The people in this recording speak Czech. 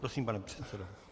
Prosím, pane předsedo.